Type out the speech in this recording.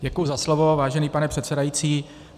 Děkuji za slovo, vážený pane předsedající.